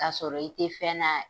Kasɔrɔ i te fɛn na